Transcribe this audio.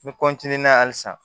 N bɛ halisa